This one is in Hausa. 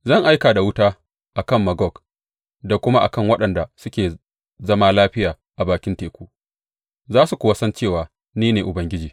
Zan aika da wuta a kan Magog da kuma a kan waɗanda suke zama lafiya a bakin teku, za su kuwa san cewa ni ne Ubangiji.